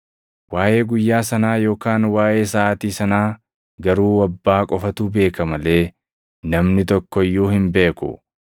“Waaʼee guyyaa sanaa yookaan waaʼee saʼaatii sanaa garuu Abbaa qofatu beeka malee namni tokko iyyuu hin beeku; ergamoonni samii irraa iyyuu hin beekan; yookaan ilmi iyyuu hin beeku.